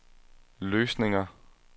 løsninger